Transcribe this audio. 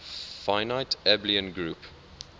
finite abelian group